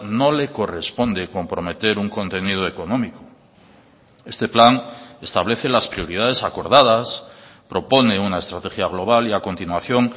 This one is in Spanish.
no le corresponde comprometer un contenido económico este plan establece las prioridades acordadas propone una estrategia global y a continuación